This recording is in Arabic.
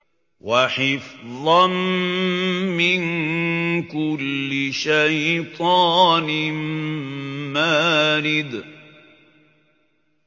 وَحِفْظًا مِّن كُلِّ شَيْطَانٍ مَّارِدٍ